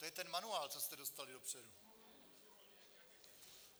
To je ten manuál, co jste dostali dopředu.